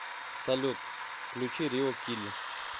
салют включи рило кили